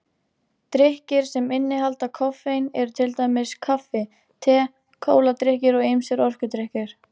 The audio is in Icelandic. Drykkir sem innihalda koffein eru til dæmis kaffi, te, kóladrykkir og ýmsir orkudrykkir.